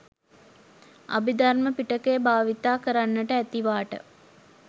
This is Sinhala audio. අභිධර්ම පිටකය භාවිත කරන්නට ඇතිවාට